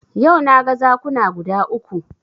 Yau na ga zakuna guda uku